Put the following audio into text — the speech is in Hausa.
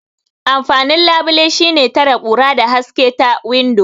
Amfanin labile shine tare kura da haske ta windo.